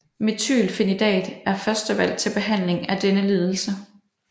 Methylphenidat er førstevalg til behandling af denne lidelse